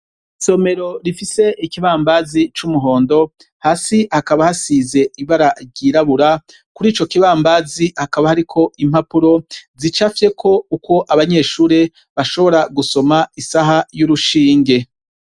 Isomero rifise ikibambazi c'umuhondo hasi hakaba hasize ibara ryirabura kuri ico kibambazi hakaba hariko impapuro zicafyeko ukwo abanyeshure bashobora gusoma isaha y'urushinge.